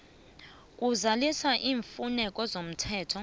kuzalisa iimfuneko zomthetho